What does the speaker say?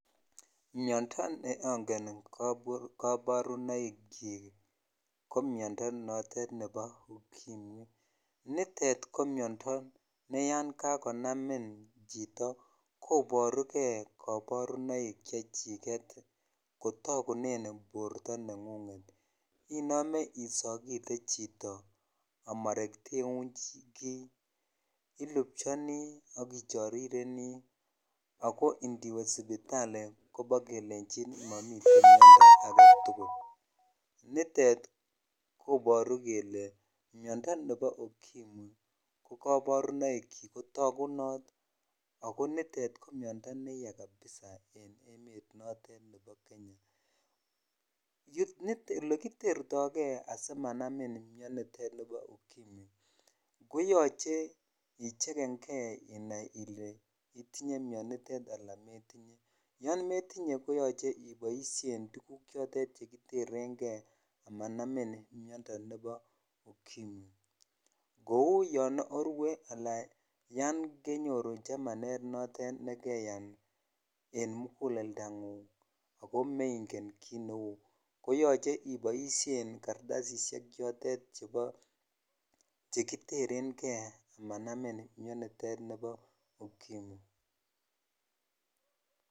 Miondoo neongen kabarunaoik chik ko Miondoo notet nebo ukimwi nitet ko Miondoo ne yan kakonamin chito koborukei kaborunoik chechiket kotogunen borto nengung inome isolate chito amarketeun kii ,ilupxhoninii ak ichorireni ako indie sipitali kelechin kobokelenjin momii Miondoo aketukul nitet koboru kele Miondoo nebo ukimwi no kabarunoik chik ko takunot ak nitet ko Miondoo neyaa kabisa en emet notet nebo Kenya olekitertoi kei asimanamin Miondoo tet bo ukimwi koyoche icheken kei inai ile itinye Miondoonitet ala metinye yon metinye koyoche iboishen tukulmk chotet chekiterenkei amanamin Miondoo nebo ukimwi kou yon orue ala yan kenyoru chamanet notet nekeyan en mokulleldangung ako mengen kit neu koyoche iboishen kartasishek chitet chebo chekiterenkei amanamin Miondooniton nibo ukimwi.